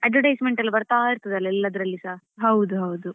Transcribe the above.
Advertisement ಎಲ್ಲ ಬರ್ತಾ ಇರ್ತದಲ್ವಾ ಎಲ್ಲದ್ರಲ್ಲಿಯೂಸಾ.